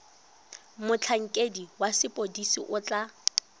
motlhankedi wa sepodisi o tla